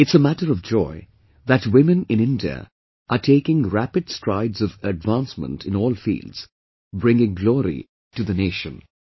It's a matter of joy that women in India are taking rapid strides of advancement in all fields, bringing glory to the Nation